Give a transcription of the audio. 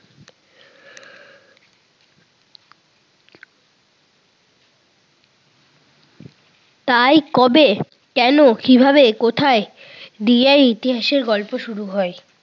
তাই কবে, কেন, কিভাবে, কোথায় দিয়ে ইতিহাসের গল্প শুরু হয়।